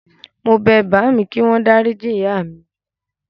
Mo bẹ bàámi kíwọ́n dáríji ìyá mi.